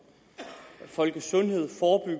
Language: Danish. folkesundhed